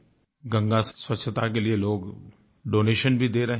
गंगा स्वच्छता के लिये लोग डोनेशन भी दे रहे हैं